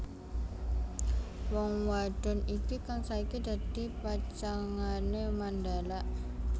Wong wadon iki kang saiki dadi pacangané Mandala